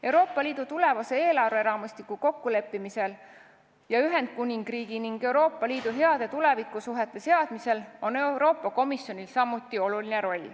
Euroopa Liidu tulevase eelarveraamistiku kokkuleppimisel ja Ühendkuningriigi ning Euroopa Liidu heade tulevikusuhete seadmisel on Euroopa Komisjonil samuti oluline roll.